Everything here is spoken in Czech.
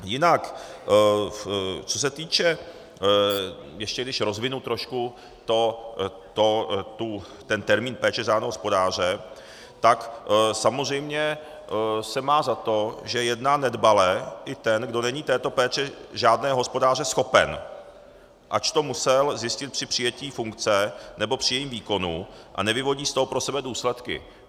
Jinak co se týče - ještě když rozvinu trošku ten termín péče řádného hospodáře, tak samozřejmě se má za to, že jedná nedbale i ten, kdo není této péče řádného hospodáře schopen, ač to musel zjistit při přijetí funkce nebo při jejím výkonu, a nevyvodí z toho pro sebe důsledky.